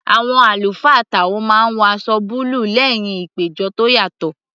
Àwọn àlùfáà táò máa ń wọ aṣọ búlù lẹ́hìn ìpéjọ tó yàtọ̀